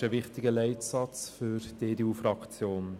Dies ist ein wichtiger Leitsatz für die EDU-Fraktion.